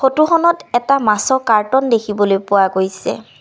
ফটোখনত এটা মাছৰ কাৰ্টন দেখিবলৈ পোৱা গৈছে।